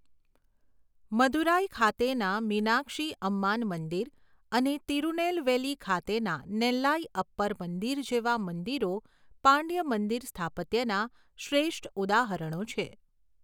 મદુરાઈ ખાતેના મીનાક્ષી અમ્માન મંદિર અને તિરુનેલવેલી ખાતેના નેલ્લાઇ અપ્પર મંદિર જેવા મંદિરો પાંડ્ય મંદિર સ્થાપત્યના શ્રેષ્ઠ ઉદાહરણો છે.